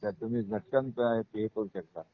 त्यात तुम्ही झटकन हा करू शकता